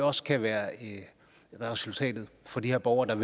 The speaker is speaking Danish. også kan være resultatet for de her borgere der